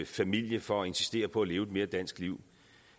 familie for at insistere på at leve et mere dansk liv